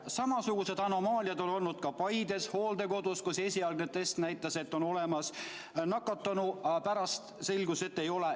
Samasugused anomaaliad on olnud ka Paides hooldekodus, kus esialgne test näitas, et on olemas nakatunu, aga pärast selgus, et ei ole.